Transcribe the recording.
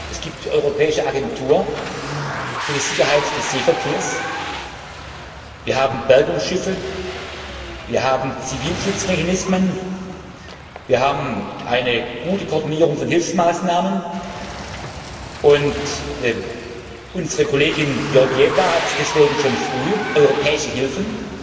Es gibt die Europäische Agentur für die Sicherheit des Seeverkehrs, wir haben Bergungsschiffe, wir haben Zivilschutzmechanismen, wir haben eine gute Koordinierung von Hilfsmaßnahmen, und unsere Kollegin, Kommissarin Georgieva, hat deshalb schon früh europäische Hilfen